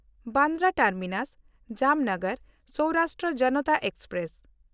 Bandra ᱴᱟᱨᱢᱤᱱᱟᱥ–ᱡᱟᱢᱱᱟᱜᱟᱨ Saurashtra Janata express